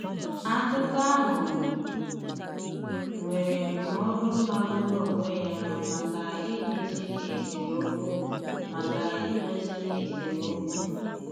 Akụ̀kọ̀ áhụ nwèrè ndụ̀mọdụ magburu onwé ya maka idozi esemọ̀kụ. maka idozi esemọ̀kụ.